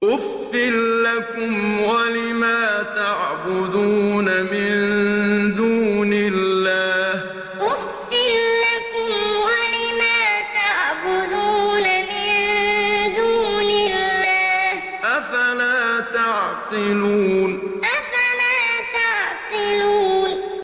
أُفٍّ لَّكُمْ وَلِمَا تَعْبُدُونَ مِن دُونِ اللَّهِ ۖ أَفَلَا تَعْقِلُونَ أُفٍّ لَّكُمْ وَلِمَا تَعْبُدُونَ مِن دُونِ اللَّهِ ۖ أَفَلَا تَعْقِلُونَ